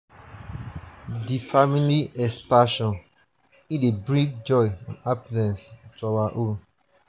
di family expansion dey bring joy and happiness to our home.